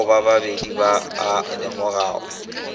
ao babadi ba a lemogago